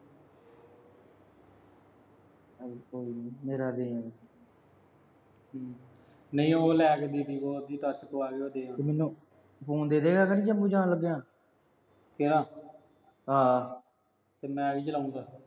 ਚਲ ਕੋਈ ਨੀ। ਮੇਰਾ ਦੇ ਆਈ। ਹਮ ਨਹੀਂ ਉਹ ਲੈ ਕੇ ਗਏ ਸੀ ਜੀਹਦੀ ਉਹ touch ਪਵਾ ਕੇ ਲਿਆਏ ਸੀ। ਉਹ ਦੇ ਆਊਂ। ਫੋਨ ਦੇ ਦੇਂਗਾ ਮੈਨੂੰ, ਜੰਮੂ ਜਾਣ ਲੱਗਿਆ। ਕਿਹੜਾ। ਆਹਾ, ਤੇ ਮੈਂ ਕੀ ਚਲਾਉਂਗਾ।